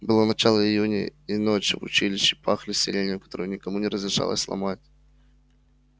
было начало июня и ночи в училище пахли сиренью которую никому не разрешалось ломать